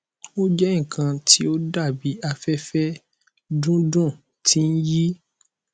o jẹ nkan ti o dabi afẹfẹ dudu ti n yi